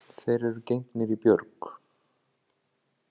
Þeir eru gengnir í björg.